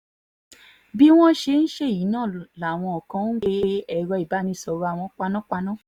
bí wọ́n ṣe ń ṣẹ́yí náà làwọn kan ń pe èrò ìbánisọ̀rọ̀ àwọn panápaná